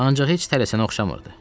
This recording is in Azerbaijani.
Ancaq heç tələsənə oxşamırdı.